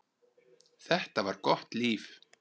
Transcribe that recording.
Þetta var gott líf.